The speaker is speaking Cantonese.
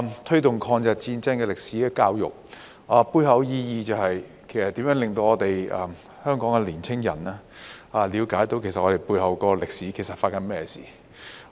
推動抗日戰爭歷史的教育，背後意義是如何令香港的年輕人了解背後的歷史其實發生了甚麼事。